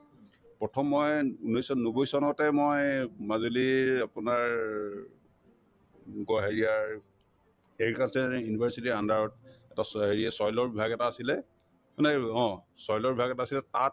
প্ৰথম মই ঊন্নৈশ নব্বৈ চনতে মই মাজুলীৰ আপোনাৰ agriculture university ৰ under ত টচ অ হেৰিয়ে soil ৰ বিভাগ এটা আছিলে মানে অ soil ৰ বিভাগ এটা আছিলে তাত